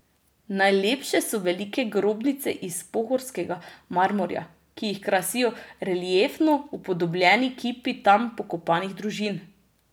Najlepše so velike grobnice iz pohorskega marmorja, ki jih krasijo reliefno upodobljeni kipi tam pokopanih družin.